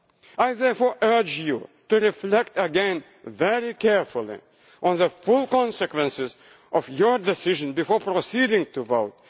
itself. I therefore urge you to reflect again very carefully on the full consequences of your decision before proceeding